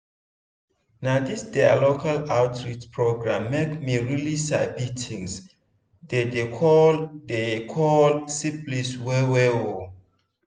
na this their local outreach program make me really sabi things they dey call dey call syphilis well well oo